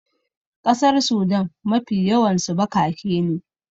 ƙasar Sudan Mafi yawansu bakake ne